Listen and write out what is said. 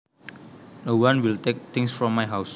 No one will take things from my house